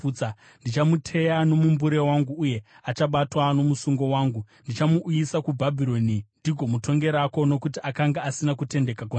Ndichamuteya nomumbure wangu, uye achabatwa nomusungo wangu. Ndichamuuyisa kuBhabhironi ndigomutongerako nokuti akanga asina kutendeka kwandiri.